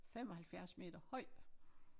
75 meter høj